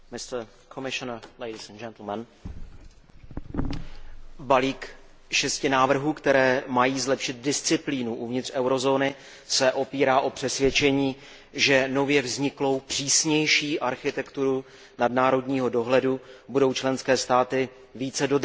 Pane předsedající, balík šesti návrhů, které mají zlepšit disciplínu uvnitř eurozóny, se opírá o přesvědčení, že nově vzniklou přísnější architekturu nadnárodního dohledu budou členské státy více dodržovat.